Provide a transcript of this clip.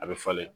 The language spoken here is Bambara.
A bɛ falen